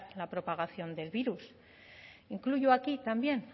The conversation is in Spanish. la propagación del virus incluyo aquí también